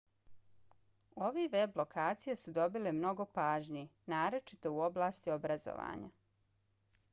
ove web lokacije su dobile mnogo pažnje naročito u oblasti obrazovanja